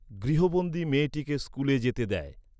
গৃহবন্দী মেয়েটিকে স্কুলে যেতে দেয়।